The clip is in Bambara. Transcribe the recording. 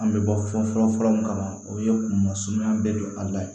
An bɛ bɔ fɔlɔ fɔlɔ min kama o ye kunmasumaya bɛɛ don an la yen